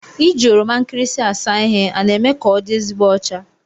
Iji oroma nkịrịsị asa ihe a na-eme ka ọdị ezigbo ọcha?